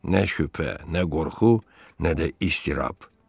Nə şübhə, nə qorxu, nə də istirab.